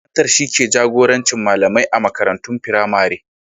Shugaban makarantar shi ke jagorancin malamai a makarantun firamare.